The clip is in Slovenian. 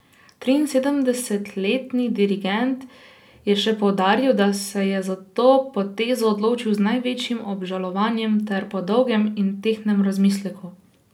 Triinsedemdesetletni dirigent je še poudaril, da se je za to potezo odločil z največjim obžalovanjem ter po dolgem in tehtnem razmisleku.